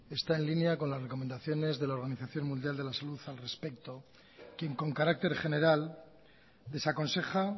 está en línea con la recomendaciones de la organización mundial de la salud al respecto quien con carácter general desaconseja